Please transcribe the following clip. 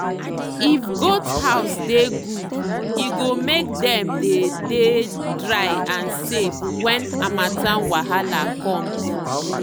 if goat house they good e go make them they they dry and safe when harmattan wahala comes.